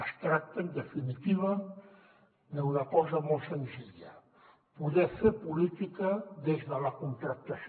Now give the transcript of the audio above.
es tracta en definitiva d’una cosa molt senzilla poder fer política des de la contractació